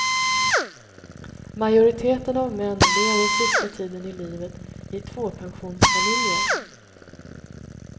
Majoriteten av män lever sista tiden i livet i tvåpensionsfamiljer.